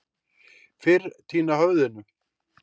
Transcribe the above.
Fyrr týna höfðinu.